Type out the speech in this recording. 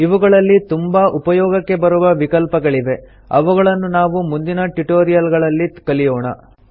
ಇವುಗಳಲ್ಲಿ ತುಂಬಾ ಉಪಯೋಗಕ್ಕೆ ಬರುವ ವಿಕಲ್ಪಗಳಿವೆ ಅವುಗಳನ್ನು ನಾವು ಮುಂದಿನ ಟ್ಯುಟೋರಿಯಲ್ ಗಳಲ್ಲಿ ಕಲಿಯೋಣ